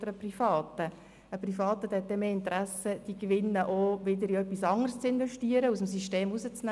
Ein privater Anbieter hat eher das Interesse, die Gewinne in etwas anderes zu investieren und aus dem System herauszunehmen.